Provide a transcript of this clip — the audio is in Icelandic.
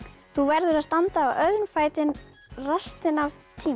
þú verður að standa á öðrum fæti restina af